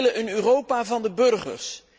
We willen een Europa van de burgers.